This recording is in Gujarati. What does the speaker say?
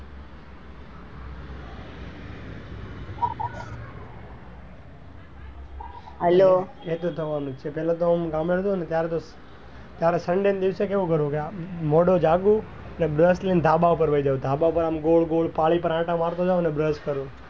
હેલ્લો એવ તો થવા નું જ છે પેલા તો આમ નાના હતો ત્યારે ત્યારે તો sunday ને દિવસે કેવું કરું કે મોડો જાગું ને brush લઇ ને ધાબા પર જતો રહું ધાબા પર આમ ગોળ ગોળ પાળી પર આંટા મારું ને brush કરું.